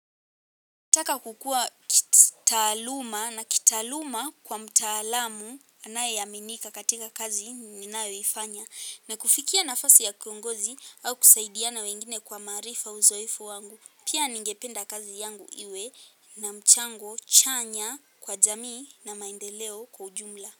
Taka kukua kitaaluma na kitaaluma kwa mtaalamu anaye aminika katika kazi ninayo ifanya na kufikia nafasi ya kiongozi au kusaidiana wengine kwa maarifa uzoefu wangu. Pia ningependa kazi yangu iwe na mchango chanya kwa jamii na maendeleo kwa ujumla.